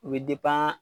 U bɛ